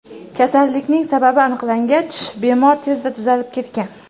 Kasallikning sababi aniqlangach bemor tezda tuzalib ketgan.